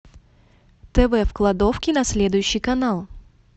тв в кладовке на следующий канал